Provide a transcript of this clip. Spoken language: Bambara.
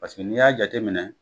Paseke n'i y'a jateminɛ